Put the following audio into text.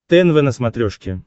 тнв на смотрешке